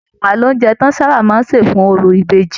Ẹwà ní oúnjẹ tí wọn sábà máa n ṣe fún òrò ìbejì.